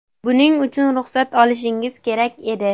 Buning uchun ruxsat olishingiz kerak edi.